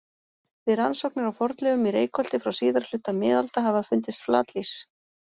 Við rannsóknir á fornleifum í Reykholti frá síðari hluta miðalda hafa fundist flatlýs.